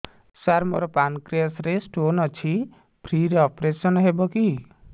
ସାର ମୋର ପାନକ୍ରିଆସ ରେ ସ୍ଟୋନ ଅଛି ଫ୍ରି ରେ ଅପେରସନ ହେବ କି